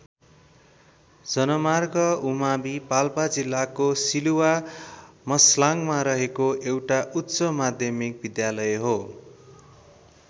जनमार्ग उमावि पाल्पा जिल्लाको सिलुवा मस्लाङमा रहेको एउटा उच्च माध्यमिक विद्यालय हो।